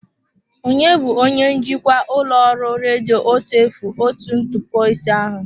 Ònye bụ onye njikwa ụlọ ọrụ redio otu efu otu ntụpọ ise ahụ?